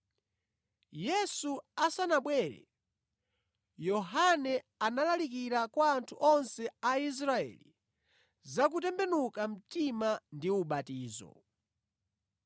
Yesu asanabwere, Yohane analalikira kwa anthu onse Aisraeli za kutembenuka mtima ndi ubatizo.